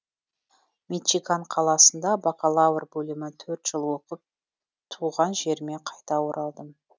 мичиган қаласында бакалавр бөлімін төрт жыл оқып түған жеріме қайта оралдым